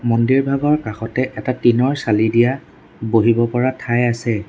মন্দিৰভাগৰ কাষতে এটা টিনৰ চালি দিয়া বহিব পৰা ঠাই আছে।